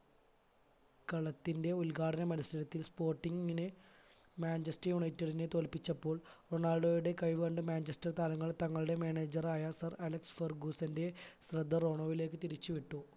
കളത്തിന്റെ ഉദ്ഘാടന മത്സരത്തിൽ sporting ന് മാഞ്ചസ്റ്റർ united നെ തോല്പിച്ചപ്പോൾ റൊണാൾഡോയുടെ കഴിവ് കണ്ട് മാഞ്ചസ്റ്റർ താരങ്ങൾ തങ്ങളുടെ manager ആയ sir അലക്സ് ഫർഗൂസന്റെ ശ്രദ്ധ റോണോവിലേക്ക് തിരിച്ചു വിട്ടു